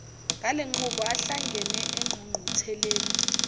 ngalenqubo ahlangene engqungqutheleni